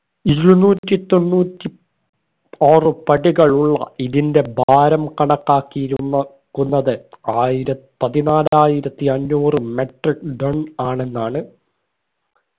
ഇരുന്നൂറ്റി തൊണ്ണൂറ്റി ആറ് പടികളുള്ള ഇതിന്റെ ഭാരം കണക്കാക്കിയിരുന്ന് ക്കുന്നത് ആയിരത് പതിനാലായിരത്തി അഞ്ഞൂറ് metric ton ആണെന്നാണ്